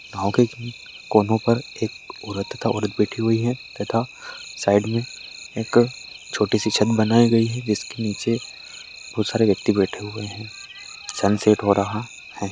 नाव के कोनो पर एक औरत का औरत बैठी हुई है तथा साइड में एक छोटी-सी छत बनाई गई है जिसके नीचे बहुत सारे व्यक्ति बैठे हुए हैं सनसेट हो रहा है।